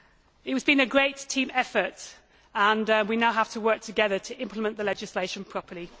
This has been a great team effort and we now have to work together to implement the legislation properly.